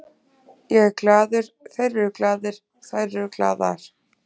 Ég er glaður, þeir eru glaðir, þær eru glaðar.